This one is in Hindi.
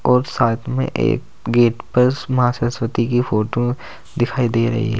और साथ में एक गेट पर मां सरस्वती की फोटो दिखाई दे रही है।